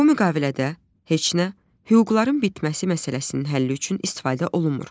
Bu müqavilədə heç nə, hüquqların bitməsi məsələsinin həlli üçün istifadə olunmur.